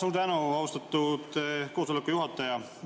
Suur tänu, austatud koosoleku juhataja!